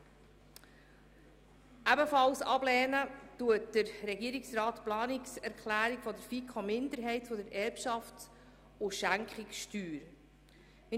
Er lehnt ebenfalls die Planungserklärung der FiKo-Minderheit zur Erbschafts- und Schenkungssteuer ab.